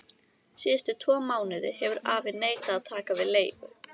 Síðustu tvo mánuði hefur afi neitað að taka við leigu.